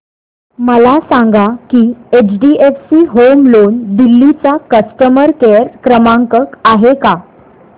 मला सांगा की एचडीएफसी होम लोन दिल्ली चा कस्टमर केयर क्रमांक आहे का